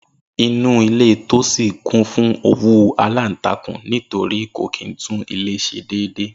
Inú ilé Tósìn kún fún owú aláǹtakùn nítorí kò kìí tún ilé s̩e dédé